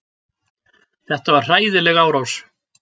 Þetta var hræðileg árás.